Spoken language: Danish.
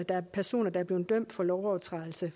er personer der er blevet dømt for overtrædelse